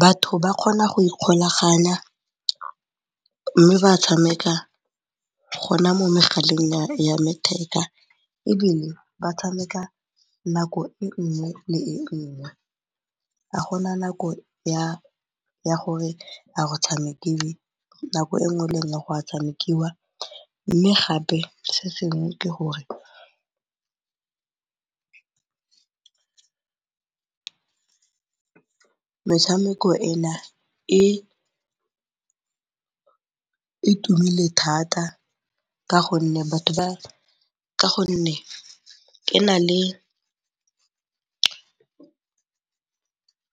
Batho ba kgona go ikgolaganya mme ba tshameka gona mo megaleng ya letheka ebile ba tshameka nako e nngwe le e nngwe. Ga gona nako ya gore a go tshamekiwe nako e nngwe le e nngwe go a tshamekiwa mme gape se sengwe ke gore metshameko ena e tumile thata ka gonne e na le